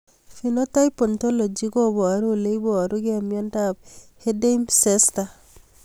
Phenotype ontology koparu ole iparukei miondop Erdheim Chester